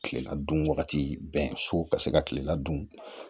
Kilela dun wagati bɛɛ so ka se ka kilela dun